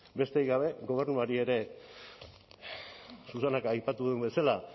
besterik gabe gobernuari ere susanak aipatu duen bezala